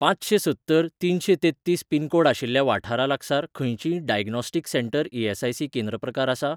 पांचशेंसत्तर तिनशेंतेत्तीस पिनकोड आशिल्ल्या वाठारा लागसार खंयचींय डायग्नोस्टीक सेंटर ई.एस.आय.सी केंद्र प्रकार आसा ?